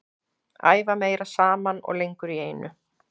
Æfa meira saman og lengur í einu.